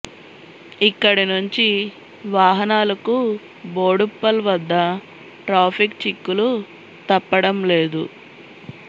ఇక్కడి నుంచి వాహనాలకు బోడుప్పల్ వద్ద ట్రాఫిక్ చిక్కులు తప్పడం లేదు